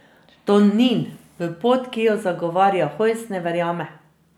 Tonin v pot, ki jo zagovarja Hojs, ne verjame.